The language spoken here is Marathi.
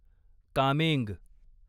कामेंग